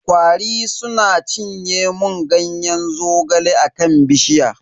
Kwari suna cinye mun Ganyen zogale a kan bishiya.